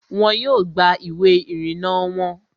Wọn yóò gba ìwé ìrìnnà wọon